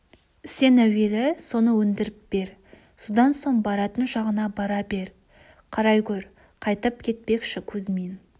сен әуелі соны өндіріп бер содан соң баратын жағыңа бара бер қарай гөр қайтып кетпекші кузьмин